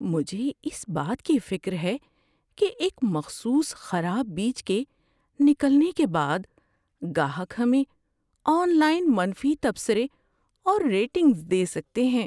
مجھے اس بات کی فکر ہے کہ ایک مخصوص خراب بیچ کے نکلنے کے بعد گاہک ہمیں آن لائن منفی تبصرے اور ریٹنگز دے سکتے ہیں۔